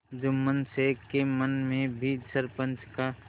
जुम्मन शेख के मन में भी सरपंच का